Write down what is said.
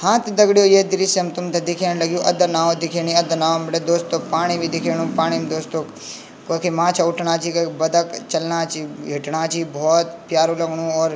हाँ तोह दगड़ियों ये दृश्यम तुम्थें दिख्यान लगयूं अदा नाओ दिख्येणी अदा नाओ भीटे दोस्तों पाणी भी दिख्याणु पाणिम दोस्तों कखि माछा उठणा जी कभी बतक चलना छीं हिटणा छीं बहौत प्यारु लगणु और --